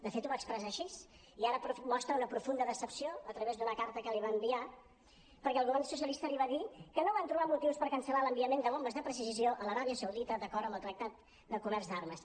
de fet ho va expressar així i ara mostra una profunda decepció a través d’una carta que li va enviar perquè el govern socialista li va dir que no van trobar motius per cancel·lar l’enviament de bombes de precisió a l’aràbia saudita d’acord amb el tractat del comerç d’armes